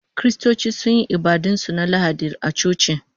Kiristoci sun yi ibadun su na Lahadi a coci